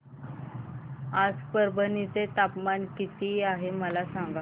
आज परभणी चे तापमान किती आहे मला सांगा